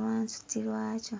lwansuti lwa kyo.